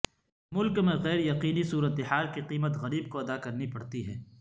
ملک میں غیر یقینی صورت حال کی قیمت غریب کو ادا کرنی پڑتی ہے